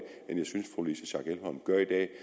at